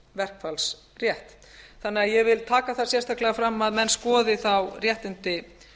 verkfallsrétt ég vil því taka það sérstaklega fram að menn skoði þá réttindi